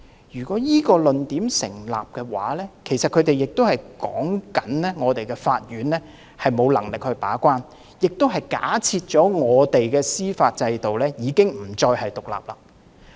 如果這個論點成立的話，他們便是說我們的法庭沒有能力把關，亦假設我們的司法制度已經不再獨立。